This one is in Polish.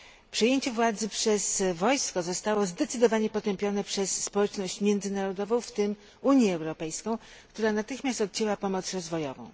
Przejęcie władzy przez wojsko zostało zdecydowanie potępione przez społeczność międzynarodową, w tym Unię Europejską, która natychmiast odcięła pomoc rozwojową.